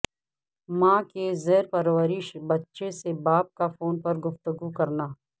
ماں کے زیر پرورش بچہ سے باپ کا فون پر گفتگو کرنا